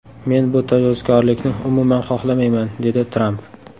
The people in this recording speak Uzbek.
Men bu tajovuzkorlikni umuman xohlamayman”, dedi Tramp.